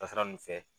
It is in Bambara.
Dasara nun fɛ